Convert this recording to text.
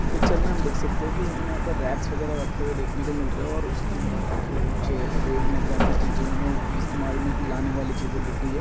इस पिक्चर में हम देख सकते है रैक्स वगैरा रखे हुए देखने को मिल रहे है और उसके अंदर रखे हुए कुछ रोजमर्रा की चीजे हमे इस्तेमाल में लाने वाली चीजे दिख रही है।